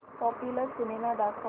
popular cinema दाखव